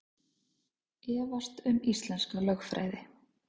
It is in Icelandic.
Efast um íslenska lögfræði